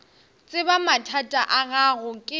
tseba mathata a gago ke